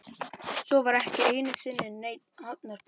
Svo var ekki einu sinni neinn hafnarbakki.